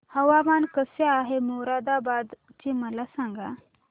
हवामान कसे आहे मोरादाबाद चे मला सांगा